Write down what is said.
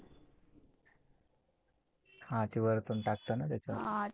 हा ते वरतून टाकतान त्याच्यात.